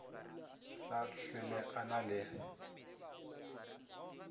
sa hlwele a na le